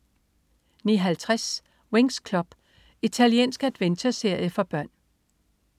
09.50 Winx Club. Italiensk adventureserie for børn